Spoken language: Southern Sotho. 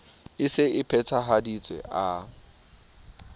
e se e phethahaditswe a